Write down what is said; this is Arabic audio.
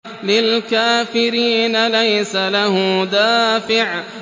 لِّلْكَافِرِينَ لَيْسَ لَهُ دَافِعٌ